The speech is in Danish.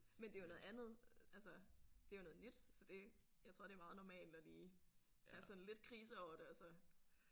Men det er jo noget andet altså det er jo noget nyt så det jeg tror det er meget normalt at lige have sådan lidt krise over det og så